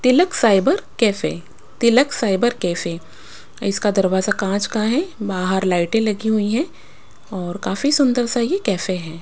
तिलक cyber cafe Tilak cyber cafe इसका दरवाजा काँच का है बाहर लाइटें लगी हुई हैं और काफी सुंदर सा ये कैफे है।